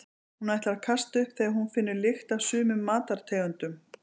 Hún ætlar að kasta upp þegar hún finnur lykt af sumum matartegundum.